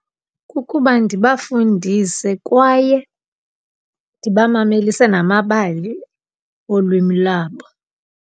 Kukuba ndibafundise kwaye ndibamamelise namabali olwimi labo.